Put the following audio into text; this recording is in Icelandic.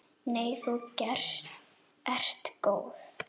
Nei þú ert góð.